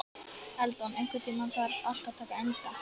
Eldon, einhvern tímann þarf allt að taka enda.